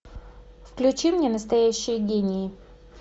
включи мне настоящие гении